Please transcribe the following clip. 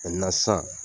sisan